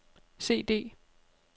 CD